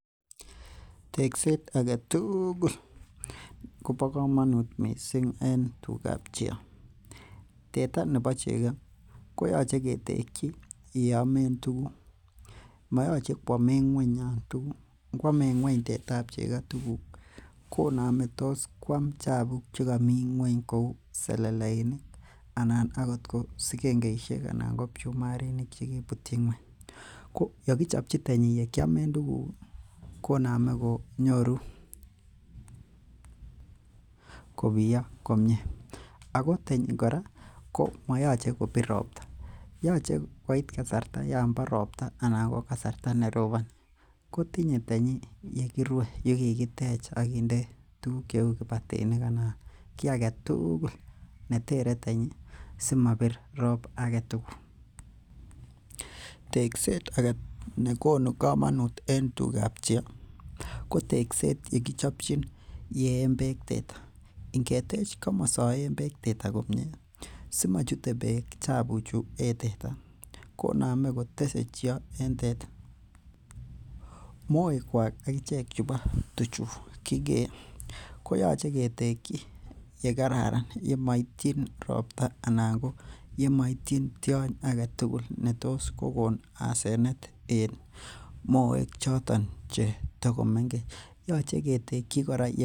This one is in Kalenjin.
Tekstet agetugul kobo komonuut en teta chego. Teta nebo chego koyache ketekchi yeamen tukuk mayache koamen ng'uany tuguk,, ngoamen ng'uany teta chego tuguk konamei toskoam chabuk che kamii ng'uany kouu seleleisiek anan akot sigengeisiek anan ko bchumarik, chekaibutyi ng'uany, ko yekichobchi tenyi yeamen tukuk konamei konyorukobiyo komie Ako tenyi kora moyache kobir robta yache ngoit kasarta Yoon bo robta kotinye tanyi yerue anan yekikitech anan kinde kibatinik anan kiagetugul yeter tenyi simabir rob agetugul tekset age nekonu komonuut en tugab cheoo ko tekstet yekichobchi yeen bek teta inge tech yeen beek teta komie konamei kotese chegotata. Moek kwak agichek chebo tuchu kikeo koyache ketekchi ye kararan yemaitien robta anan yemaitien tiony agetugul netoskokon asenet en moek choton che tokomengechen.